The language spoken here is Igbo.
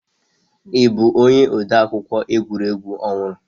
Ị bụ onye odeakụkọ egwuregwu ọhụrụ?